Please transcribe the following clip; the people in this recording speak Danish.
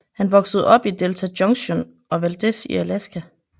Han voksede op i Delta Junction og Valdez i Alaska